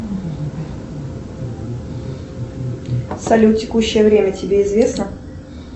салют текущее время тебе известно